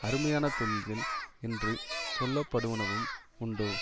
அருமையான தொழில்கள் என்று சொல்ல படுவனவும் உண்டோ